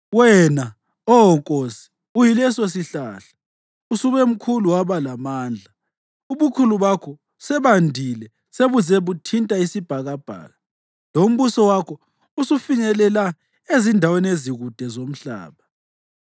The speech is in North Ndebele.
wena, Oh nkosi, uyilesosihlahla! Usube mkhulu waba lamandla; ubukhulu bakho sebandile sebuze buthinta isibhakabhaka, lombuso wakho usufinyelela ezindaweni ezikude ezomhlaba.